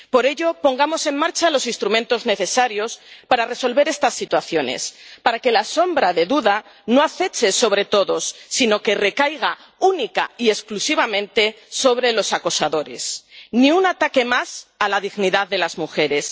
Por ello, pongamos en marcha los instrumentos necesarios para resolver estas situaciones, para que la sombra de duda no aceche sobre todos, sino que recaiga única y exclusivamente sobre los acosadores. Ni un ataque más a la dignidad de las mujeres.